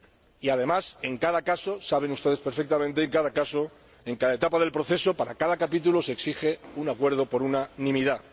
Y, además, como ustedes saben perfectamente, en cada caso, en cada etapa del proceso, para cada capítulo, se exige un acuerdo por unanimidad.